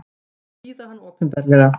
Hýða hann opinberlega!